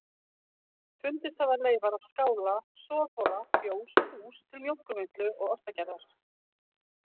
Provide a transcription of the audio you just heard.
Fundist hafa leifar af skála, soðhola, fjós og hús til mjólkurvinnslu og ostagerðar.